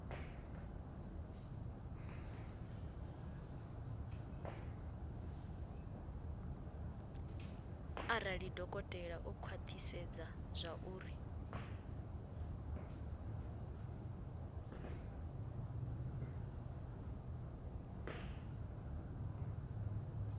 arali dokotela o khwathisedza zwauri